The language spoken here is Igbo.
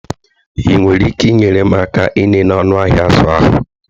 Ị nwere ike inyere m aka ịlele ọnụ ahịa azụ ahụ?